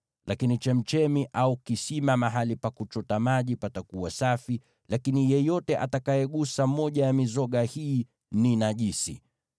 Lakini chemchemi au kisima, mahali pa kuchota maji, patakuwa safi, lakini yeyote atakayegusa moja ya mizoga hii ni najisi.